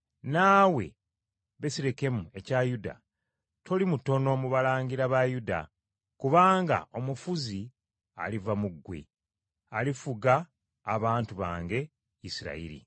“ ‘Naawe Besirekemu ekya Yuda, toli mutono mu balangira ba Yuda, kubanga omufuzi aliva mu ggwe, alifuga abantu bange Isirayiri.’ ”